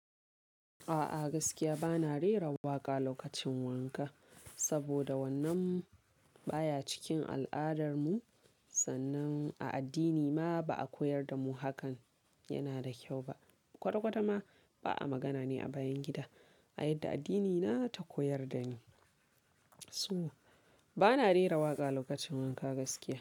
A'a gaskiya bana rera waƙa lokacin wanka, saboda wannan baya cikin al'adar mu sannan a addini ma ba a koyar da mu hakan yana da kyau ba. Kwata-kwata ma ba a magana ne a bayan gida, a yadda addinina ta koyar da ni. To bana rera waƙa lokacin wanka gaskiya.